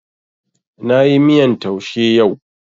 Na yi miyan taushe yau